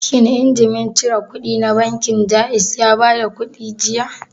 Shin injimin cire kuɗi na bankin Jaiz ya bada kuɗi jiya?